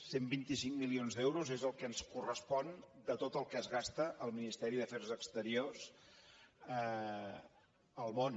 cent i vint cinc milions d’euros és el que ens correspon de tot el que es gasta el ministeri d’afers exteriors al món